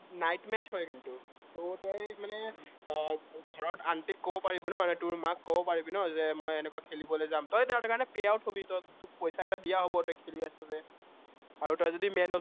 night match হয় কিন্তু ত তই মানে আহ ঘৰত আন্টিক কব পাৰিবি ন, মানে তোৰ মাক কব পাৰিবি ন, যে মই এনেকা খেলিবলে যাম, তই সেইটো কাৰনে pay out হবি তোক পইচা এটা দিয়া হব, তই খেলি আছে যে, আৰু তই যদি man of